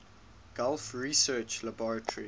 gulf research laboratories